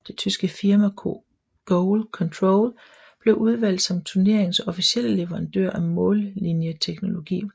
Det tyske firma GoalControl blev udvalgt som turneringens officielle leverandør af mållinjeteknologi